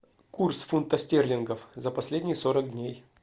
курс фунтов стерлингов за последние сорок дней